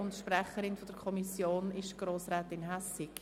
Die Sprecherin der Kommission ist Grossrätin Hässig.